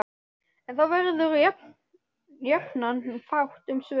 En þá verður jafnan fátt um svör.